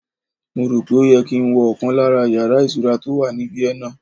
Mo rò pé ó yẹ kí n wo ọkàn lára yàrá ìtura tó wà ní Vienna